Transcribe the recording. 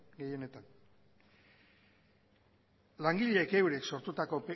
gehienetan langileek eurek sortutako